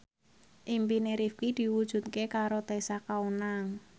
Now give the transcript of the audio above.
impine Rifqi diwujudke karo Tessa Kaunang